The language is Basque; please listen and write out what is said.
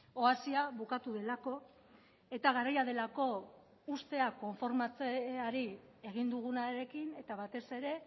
oasia bukatu delako eta garaia delako uztea konformatzeari egin dugunarekin eta batez ere